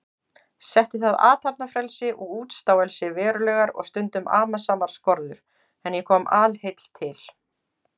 Setti það athafnafrelsi og útstáelsi verulegar og stundum amasamar skorður, en ég kom alheill til